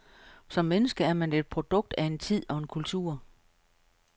Som menneske er man et produkt af en tid og en kultur.